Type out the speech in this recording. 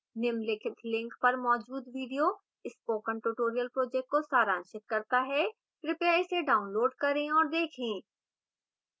निम्नलिखित link पर मौजूद video spoken tutorial project को सारांशित करता है कृपया इसे डाउनलोड करें और देखें